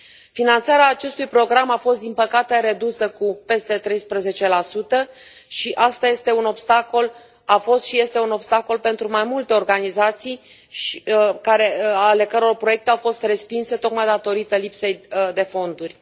Finanțarea acestui program a fost din păcate redusă cu peste 13 și asta este un obstacol, a fost și este un obstacol pentru mai multe organizații ale căror proiecte au fost respinse tocmai datorită lipsei de fonduri.